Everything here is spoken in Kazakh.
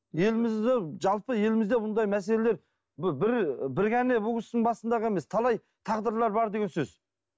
елімізде жалпы елімізде мұндай мәселелер бір ғана бұл кісінің басында ғана емес талай тағдырлар бар деген сөз